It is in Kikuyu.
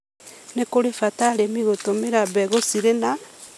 Nĩ bata kũrĩ arĩmi gũtũmĩra mbegũ cirĩ na